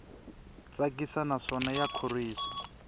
tsakisa naswona ya khorwisa